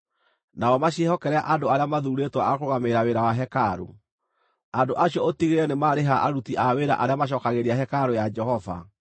Nao maciĩhokere andũ arĩa mathuurĩtwo a kũrũgamĩrĩra wĩra wa hekarũ. Andũ acio ũtigĩrĩre nĩ marĩha aruti a wĩra arĩa macookagĩrĩria hekarũ ya Jehova,